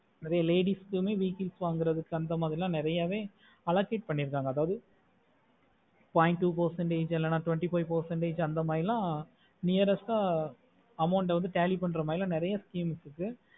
எந்த மாரி ladiesvechicles வாங்குறது அந்த மார்ல நேரிய வேய் allocate பண்ணி இருக்காங்க அதாவது two percentage five percentage அந்த மாரில nearest ஆஹ் account ஆஹ் tally பண்ணுறதுனால நேரிய schme இருக்கு